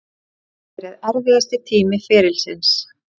Þetta hefur verið erfiðasti tími ferilsins.